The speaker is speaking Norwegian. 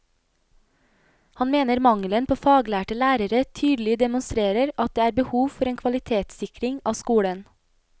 Han mener mangelen på faglærte lærere tydelig demonstrerer at det er behov for en kvalitetssikring av skolen.